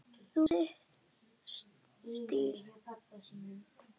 Þú hefur þinn stíl.